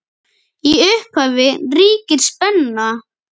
Í upphafi ríkir spenna.